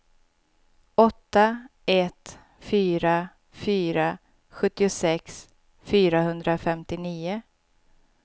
åtta ett fyra fyra sjuttiosex fyrahundrafemtionio